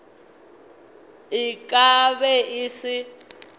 e ka be e se